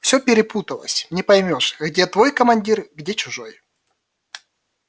всё перепуталось не поймёшь где твой командир где чужой